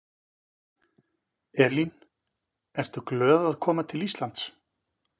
Elín: Ertu glöð að koma til Íslands?